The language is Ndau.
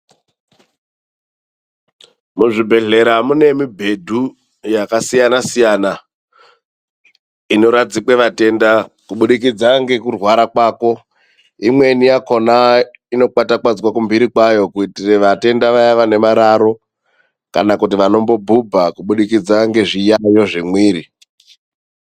Muzvibhedhlera mune mubhedhu yakasiyana siyana inoradzikwa vatenda kuburikidza nekurwara kwavo imweni inokwatakwadzwa kumhiri kwayo kuitira vatenda vaya vane mararo kana kuti vanombobhubha kubudikidza ngezviyayo zvemwiri .